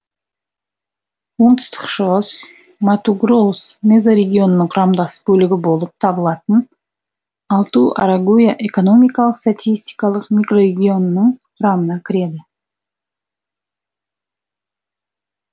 оңтүстік шығыс мату гроус мезорегионының құрамдас бөлігі болып табылатын алту арагуя экономика статистикалық микрорегионының құрамына кіреді